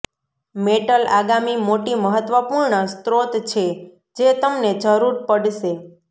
metal આગામી મોટી મહત્વપૂર્ણ સ્રોત છે જે તમને જરૂર પડશે